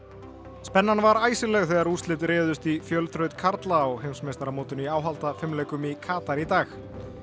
spennan var þegar úrslit réðust í fjölþraut karla á heimsmeistaramótinu í áhaldafimleikum í Katar í dag